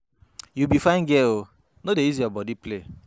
You be fine girl oooo, no dey use your body play.